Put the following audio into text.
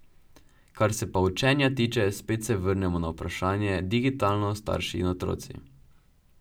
Kar se pa učenja tiče, spet se vrnemo na vprašanje digitalno, starši in otroci.